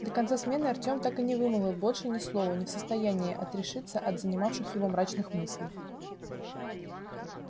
до конца смены артём так и не вымолвил больше ни слова не в состоянии отрешиться от занимавших его мрачных мыслей